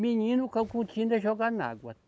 Menino, joga na água.